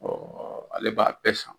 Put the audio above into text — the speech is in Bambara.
ale b'a bɛɛ san